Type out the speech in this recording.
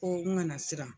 Ko n kana siran